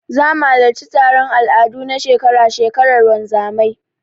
Zamu halarci taron al'adu na shekara-shekarar wanzamai.